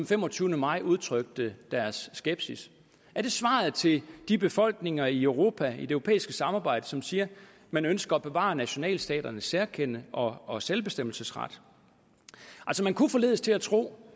femogtyvende maj udtrykte deres skepsis er det svaret til de befolkninger i europa i det europæiske samarbejde som siger at man ønsker at bevare nationalstaternes særkende og og selvbestemmelsesret man kunne forledes til at tro